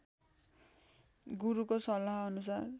गुरुको सल्लाहअनुसार